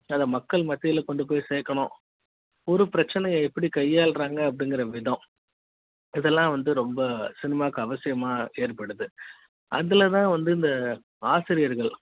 அதை மக்கள் மத்தியில் கொண்டு போய் சேக்கணும் ஒரு பிரச்சனை யை எப்படி கையாள றாங்க அப்டிங்குற விதம் அதெல்லாம் வந்து ரொம்ப சினிமாக்கு அவசியமா ஏற்படுத்து அதுல தான் வந்து இந்த ஆசிரியர்கள்